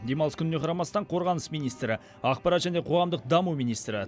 демалыс күніне қарамастан қорғаныс министрі ақпарат және қоғамдық даму министрі